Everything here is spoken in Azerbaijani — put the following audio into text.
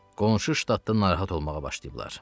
qonşu ştatlar narahat olmağa başlayıblar.